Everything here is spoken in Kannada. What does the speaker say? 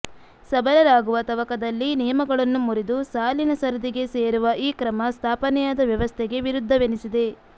ಸಬಲರಾಗುವ ತವಕದಲ್ಲಿ ನಿಯಮಗಳನ್ನು ಮುರಿದು ಸಾಲಿನ ಸರದಿಗೆ ಸೇರುವ ಈ ಕ್ರಮ ಸ್ಥಾಪನೆಯಾದ ವ್ಯವಸ್ಥೆಗೆ ವಿರುದ್ಧವೆನಿಸಿದೆ